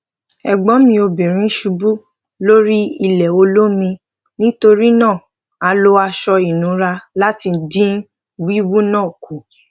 ègbón mi obìnrin ṣubú lórí ilè olómi nítorí náà a lo aṣọ ìnura láti dín wíwú náà kù